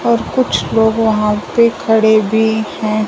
और कुछ लोग वहां पे खड़े भी हैं।